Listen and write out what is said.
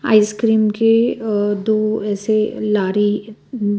ice cream के अ दो ऐसे अ लारी अ--